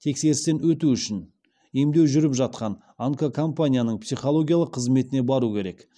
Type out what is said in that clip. тексерістен өту үшін емдеу жүріп жатқан онкокомпанияның психологиялық қызметіне бару керек